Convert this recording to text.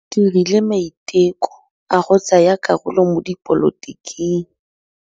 O dirile maitekô a go tsaya karolo mo dipolotiking.